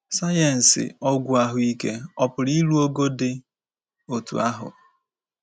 Sayensị ọgwụ ahụike ọ̀ pụrụ iru ogo dị otú ahụ?